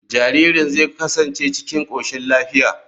Jaririn zai kasance cikin koshin lafiya.